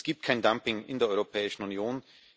Es gibt kein Dumping in der Europäischen Union.